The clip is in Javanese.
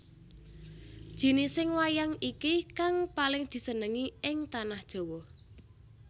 Jinising wayang iki kang paling disenengi ing Tanah Jawa